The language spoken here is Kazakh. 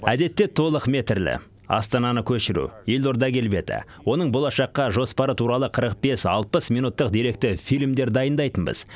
әдетте толықметрлі астананы көшіру елорда келбеті оның болашаққа жоспары туралы қырық бес алпыс минуттық деректі фильмдер дайындайтынбыз